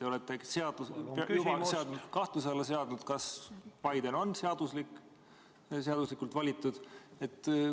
Te olete juba kahtluse alla seadnud selle, kas Biden on seaduslikult valitud.